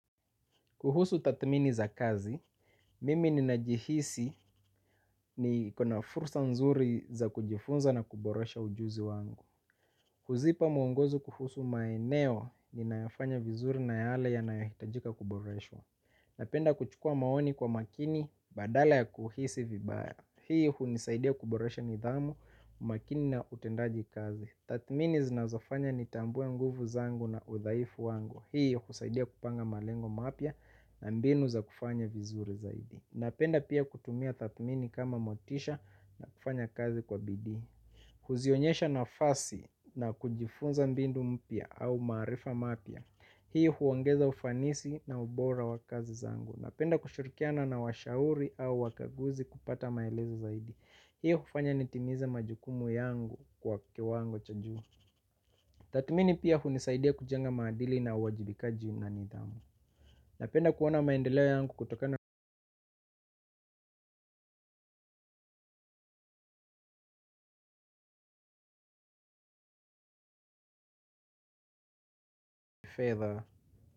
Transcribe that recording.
Kuhusu tathmini za kazi, mimi ninajihisi niko na fursa nzuri za kujifunza na kuboresha ujuzi wangu huzipa mwongozo kuhusu maeneo ninayo fanya vizuri na yale yanayohitajika kuboreshwa. Napenda kuchukua maoni kwa makini badala ya kuhisi vibaya. Hii hunisaidia kuboresha nidhamu, umakini na utendaji kazi. Tathmini zinazofanya nitambue nguvu zangu na udhaifu wangu. Hiyo kusaidia kupanga malengo mapya na mbinu za kufanya vizuri zaidi. Napenda pia kutumia tathmini kama motisha na kufanya kazi kwa bidii kuzionyesha nafasi na kujifunza mbinu mpya au maarifa mapya hii huongeza ufanisi na ubora wa kazi zangu napenda kushirikiana na washauri au wakaguzi kupata maelezo zaidi hii hufanya nitimize majukumu yangu kwa kiwango cha juu. Tatu mimi pia hunisaidia kujenga maadili na uwajibikaji na nidhamu napenda kuona maendeleo yangu kutokana na fedha.